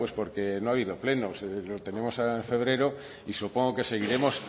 pues porque no ha habido plenos lo tenemos en febrero y supongo que seguiremos